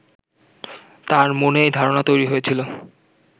তাঁর মনে এই ধারণা তৈরি হয়েছিল